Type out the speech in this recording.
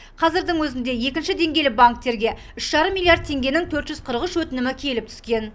қазірдің өзінде екінші деңгейлі банктерге үш жарым миллиард теңгенің төрт жүз қырық үш өтінімі келіп түскен